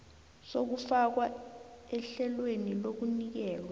sokufakwa ehlelweni lokunikelwa